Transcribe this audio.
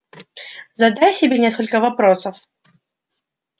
задай себе несколько вопросов